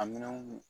A minɛnw